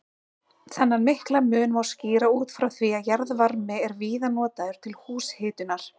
Þennan mikla mun má skýra út frá því að jarðvarmi er víða notaður til húshitunar.